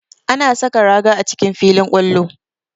Ana saka raga a cikin filin kwallo